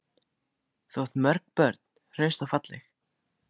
Þú átt mörg börn, hraust og falleg.